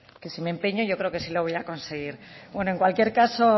que si me empeño yo creo que sí lo voy a conseguir bueno en cualquier caso